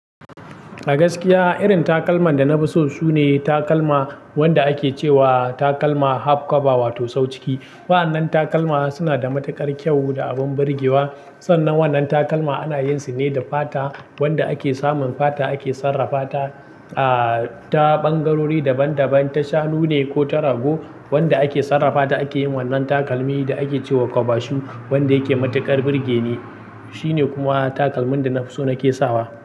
A gaskiya irin takalman da na fi so sune takalma wanda ake ce wa takalma half kaba wato sau ciki. Wa'annan takalma suna da matuƙar kyau da abin birgewa. Sannan wannan takalma ana yin su ne da fata wanda ake samun fata ake sarrafa ta, ah ta ɓangarori daban daban ta shanu ne ko ta rago wanda ake sarrafa ta ake yin wannan takalmi da ake ce wa kaba shu wanda yake matuƙar birge ne. Shi ne kuma takalmin da na fi so na ke sawa.